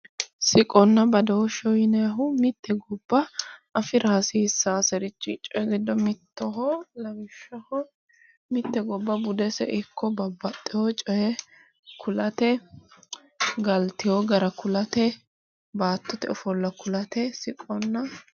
Siqonna badooshsheho yinayihu mitte gobba afira hasiissaaseri giddo mittoho. Lawishshaho mitte gobba budese ikko babbaxxiwo coyi kulate galtiwo gara kulate baattote ofolla kulate siqonna.